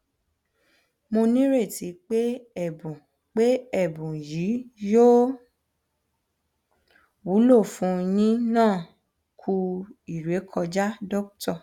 mo nireti pé ẹbùn pé ẹbùn yii yóò wúlò fún yínẹ ku ìrẹkọjá dr